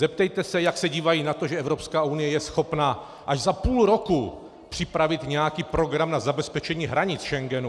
Zeptejte se, jak se dívají na to, že Evropská unie je schopna až za půl roku připravit nějaký program na zabezpečení hranic Schengenu.